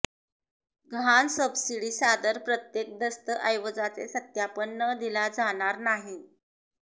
गहाण सबसिडी सादर प्रत्येक दस्तऐवजाचे सत्यापन न दिला जाणार नाही